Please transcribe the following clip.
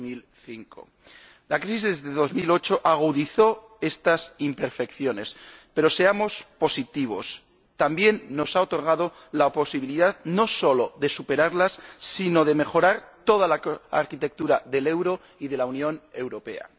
2005. La crisis de 2008 agudizó estas imperfecciones, pero, seamos positivos, también nos ha otorgado la posibilidad, no solo de superarlas, sino de mejorar toda la arquitectura del euro y de la Unión Europea.